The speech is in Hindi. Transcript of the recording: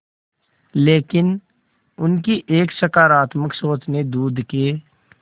लेकिन उनकी एक सकरात्मक सोच ने दूध के